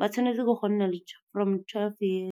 ba tshwanetse ke go nna from twelve years.